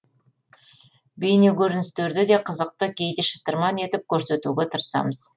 бейнекөріністерді де қызықты кейде шытырман етіп көрсетуге тырысамыз